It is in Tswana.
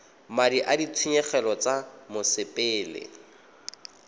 madi a ditshenyegelo tsa mosepele